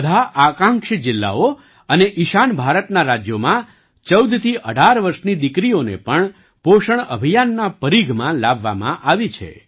બધા આકાંક્ષી જિલ્લાઓ અને ઈશાન ભારતનાં રાજ્યોમાં ૧૪થી ૧૮ વર્ષની દીકરીઓને પણ પોષણ અભિયાનના પરીઘમાં લાવવામાં આવીછે